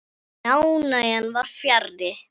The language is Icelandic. En ánægjan var fjarri.